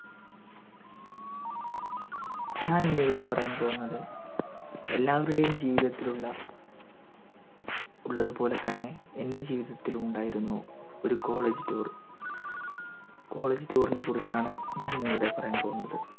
ഞാനിന്ന് ഇവിടെ പറയാൻ പോകുന്നത് എല്ലാവരുടെയും ജീവിതത്തിലും ഉള്ള ഉള്ളത്പോലെ തന്നെ എൻ്റെ ജീവിതത്തിലും ഉണ്ടായിരുന്നു ഒരു college tour college tour നെ കുറിച്ചാണ് ഞാനിന്ന് ഇവിടെ പറയാൻ പോകുന്നത്